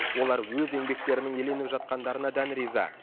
олар өз еңбектерінің еленіп жатқандарына дән риза